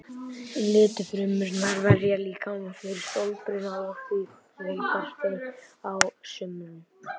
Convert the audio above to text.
Litfrumurnar verja líkamann fyrir sólbruna og því fjölgar þeim á sumrum.